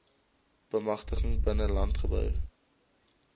bemagtiging binne landbou